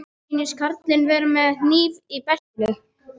Mér sýnist karlinn vera með hníf í beltinu.